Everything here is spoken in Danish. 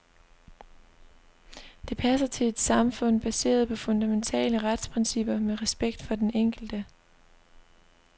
Det passer til et samfund baseret på fundamentale retsprincipper med respekt for den enkelte.